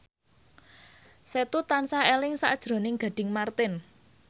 Setu tansah eling sakjroning Gading Marten